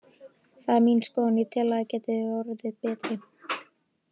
Það er mín skoðun, ég tel að ég geti orðið betri.